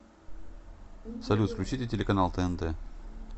салют включите телеканал тнт